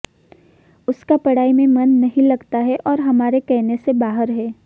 उसका पढ़ाई में मन नहीं लगता है और हमारे कहने से बाहर है